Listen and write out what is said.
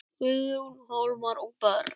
Guðrún, Hólmar og börn.